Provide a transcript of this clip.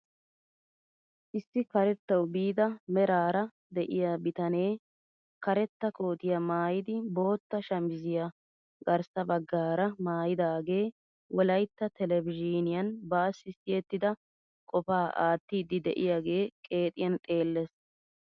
Issi karettawu biida meraara de'iyaa bitanee karetta kootiyaa maayidi bootta shamisiyaa garssa baggaara maayidagee wolaytta telebizhiniyaan bassi siyettida qofaa aattiidi de'iyaagee qeexiyaan xeellees!